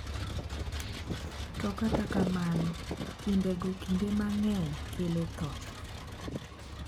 To kata kamano timbego kinde mang’eny kelo tho.